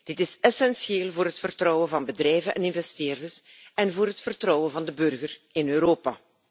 Dit is essentieel voor het vertrouwen van bedrijven en investeerders en voor het vertrouwen van de burger in Europa.